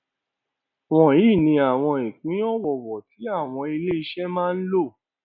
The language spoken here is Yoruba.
wọnyí ni àwọn ìpín ọwọọwọ tí àwọn iléiṣẹ máa ń lò